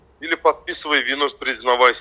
"İli podpisivay vinu, priznavaysya".